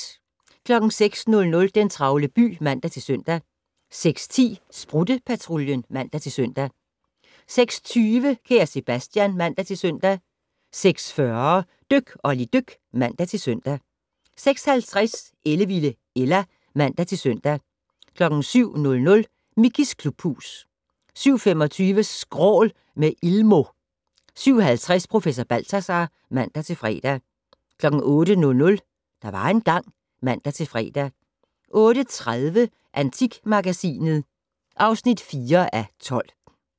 06:00: Den travle by (man-søn) 06:10: Sprutte-Patruljen (man-søn) 06:20: Kære Sebastian (man-søn) 06:40: Dyk Olli dyk (man-søn) 06:50: Ellevilde Ella (man-søn) 07:00: Mickeys klubhus 07:25: Skrål - med Ilmo 07:50: Professor Balthazar (man-fre) 08:00: Der var engang ... (man-fre) 08:30: Antikmagasinet (4:12)